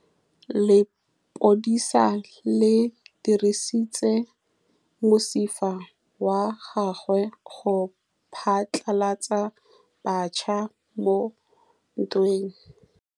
Lepodisa le dirisitse mosifa wa gagwe go phatlalatsa batšha mo ntweng.